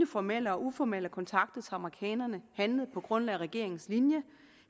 formelle og uformelle kontakter amerikanerne handlet på grundlag af regeringens linje